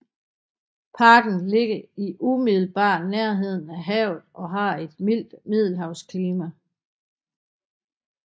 Parken ligger i umiddelbar nærhed af havet og har et mildt middelhavsklima